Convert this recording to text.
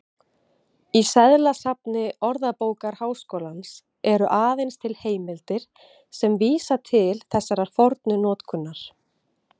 Í seðlasafni Orðabókar Háskólans eru aðeins til heimildir sem vísa til þessarar fornu notkunar.